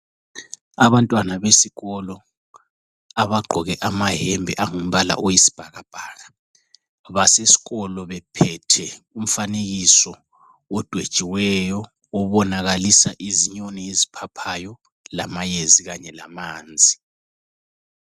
Abantwana besikolo abagqoke amayembe angumbala oyisibhakabhaka basesikolo bephethe umfanekiso odwetshiweyo, obonakalisa izinyoni eziphaphayo, amayezi kanye lamanzi.